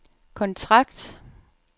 kontrakt